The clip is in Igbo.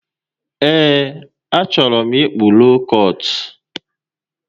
Ee, achọrọ m ịkpụ lookọt